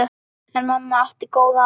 En mamma átti góða að.